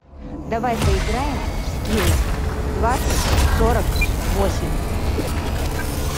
давай поиграем в скилл двадцать сорок восемь